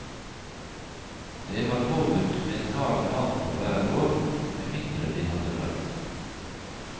Det var påbudt med et kar med vann på hver gård, med mindre de hadde brønn.